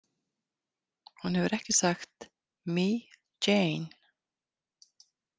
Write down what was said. Hún hefur ekki sagt „Me, Jane“ ?